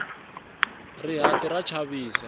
rihati ra chavisa